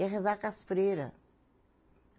Ia rezar com as freira.